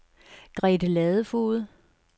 Grete Ladefoged